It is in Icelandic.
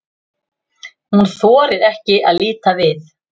Hún þorir ekki að líta við.